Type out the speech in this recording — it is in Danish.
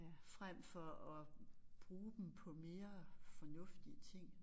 Frem for at bruge dem på mere fornuftige ting